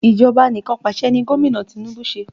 Ìjọba anikanpasẹ̀ ni Gomina Tinubu ṣe